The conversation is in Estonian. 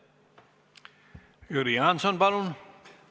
Jüri Jaanson, palun!